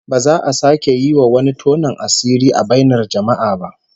Ba za a sake yi wa wani tonon asiri a bainar jama'a ba